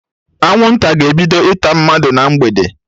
Anwụnta ga-ebido ịta mmadụ na mgbede